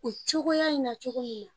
O cogoya in na cogo min